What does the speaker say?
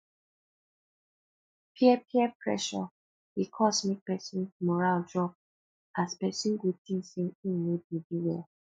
peer peer pressure dey cause mek pesin moral drop as pesin go tink say im no dey do well